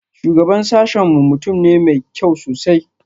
Shugaban sashen mu mutum ne mai kyau sosai